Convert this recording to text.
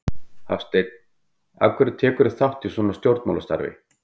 Hafsteinn: Af hverju tekurðu þátt í svona stjórnmálastarfi?